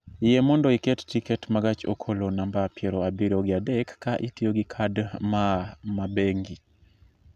Yie mondo iket tiket ma gach okolo namba piero abiro gi adek ka itiyo gi kad maa ma bengi